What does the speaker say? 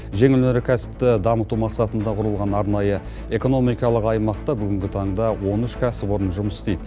жеңіл өнеркәсіпті дамыту мақсатында құрылған арнайы экономикалық аймақта бүгінгі таңда он үш кәсіпорын жұмыс істейді